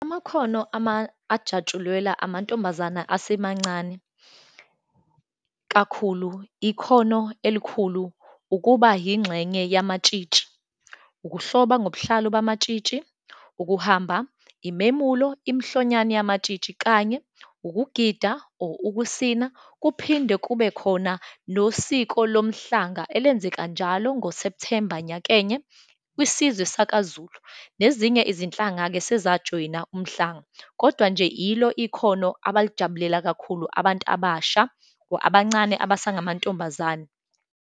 Amakhono ama, ajatshulelwa amantombazana asemancane, kakhulu ikhono elikhulu, ukuba yingxenye yamatshitshi, ukuhloba ngobuhlalu bamatshitshi, ukuhamba imemulo, imhlonyane yamatshitshi, kanye ukugida or ukusina, kuphinde kube khona nosiko lomhlanga elenzaka njalo ngoSepthemba nyakenye, kwisizwe sakaZulu. Nezinye izinhlanga-ke sezajoyina umhlanga, kodwa nje yilo ikhono abalijabulela kakhulu abantu abasha or abancane abasangamantombazane.